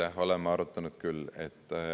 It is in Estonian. Jah, oleme arutanud küll.